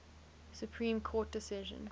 supreme court decision